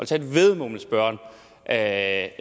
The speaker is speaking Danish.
tage et væddemål med spørgeren at